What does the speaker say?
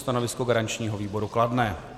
Stanovisko garančního výboru kladné.